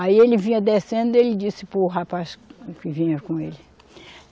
Aí ele vinha descendo, ele disse para o rapaz que vinha com ele.